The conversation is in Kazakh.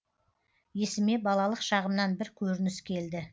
есіме балалық шағымнан бір көрініс келді